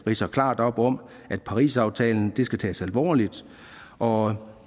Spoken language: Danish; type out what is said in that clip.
ridser klart op at parisaftalen skal tages alvorligt og